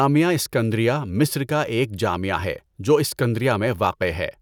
جامعہ اسکندریہ مصر کا ایک جامعہ ہے جو اسکندریہ میں واقع ہے۔